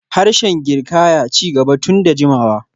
Harshen Girkaya ci gaba tun da jimawa.